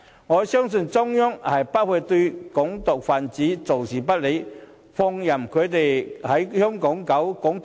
我深信中央不會對"港獨"分子坐視不理，放任他們在香港搞"港獨"。